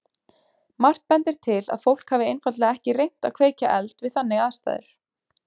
Margt bendir til að fólk hafi einfaldlega ekki reynt að kveikja eld við þannig aðstæður.